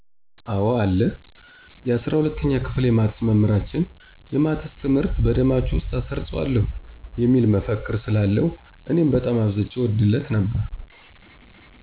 አወ አለ። የ፩፪ኛ ክፍል የማትስ መምህራችን "የማትስ ትምህርት በደማችሁ ውስጥ አሰርጽዋለሁ" የሚል መፈክር ስላለው እኔም በጣም አብዝቼ እወድለት ነበር።